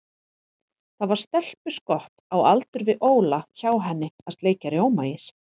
Það var stelpuskott á aldur við Óla hjá henni að sleikja rjómaís.